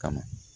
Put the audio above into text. Kama